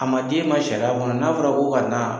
A ma d'e ma sariya kɔnɔ ,n'a fɔra ko ka na